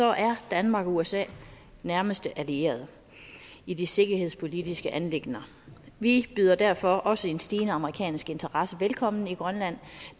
er danmark og usa nærmeste allierede i de sikkerhedspolitiske anliggender vi byder derfor også en stigende amerikansk interesse velkommen i grønland